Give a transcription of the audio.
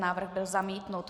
Návrh byl zamítnut.